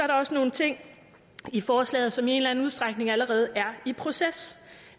der også nogle ting i forslaget som i en eller anden udstrækning allerede er i proces